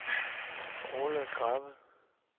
Orla Krabbe